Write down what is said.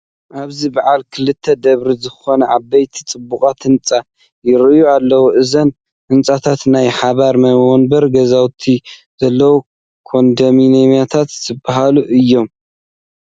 ኣብዚ በዓል ክልተ ደብሪ ዝኾኑ ዓበይቲ ፅቡቓት ህንፃ ይርአዩ ኣለዉ፡፡ እዞም ህንፃታት ናይ ሓባር መንበሪ ገዛውቲ ዘለዉዎ ኮንደሚንየም ዝበሃሉ እዮም፡፡